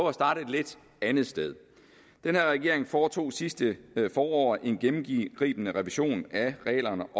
at starte et lidt andet sted den her regering foretog sidste forår en gennemgribende revision af reglerne